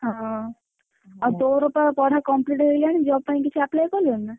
ହଁ, ଆଉ ତୋର ତ ପଢା complete ହେଇଗଲାଇ job ପାଇଁ କିଛି apply କଲାଉ ନା?